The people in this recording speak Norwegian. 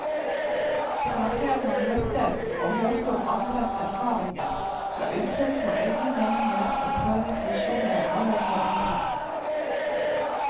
Det var her man møttes og hørte om andres erfaringer, ga uttrykk for egne meninger og prøvet visjoner overfor andre.